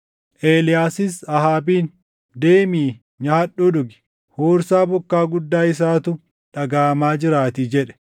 Eeliyaasis Ahaabiin, “Deemi; nyaadhuu dhugi; huursaa bokkaa guddaa isaatu dhagaʼamaa jiraatii” jedhe.